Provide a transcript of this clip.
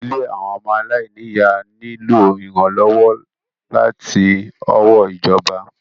Ilé àwọn ọmọ àláìnì ìyá nílò ìrànlọ́wọ́ láti ọwọ́ ìjọba.